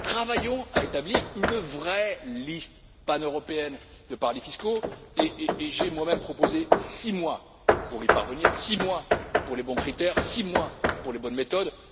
Travaillons à établir une vraie liste paneuropéenne de paradis fiscaux, et j'ai moi même proposé six mois pour y parvenir, six mois pour les bons critères, six mois pour les bonnes méthodes.